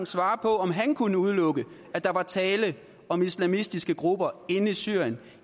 svare på om han kunne udelukke at der er tale om islamistiske grupper inde i syrien